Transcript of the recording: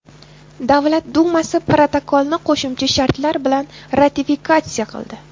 Davlat dumasi protokolni qo‘shimcha shartlar bilan ratifikatsiya qildi.